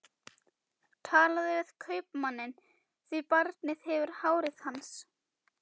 Talaðu við kaupmanninn, því barnið hefur hárið hans.